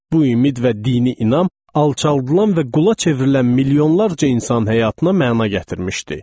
Bu ümid və dini inam alçaldılan və qula çevrilən milyonlarla insan həyatına məna gətirmişdi.